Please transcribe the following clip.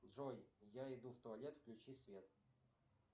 джой я иду в туалет включи свет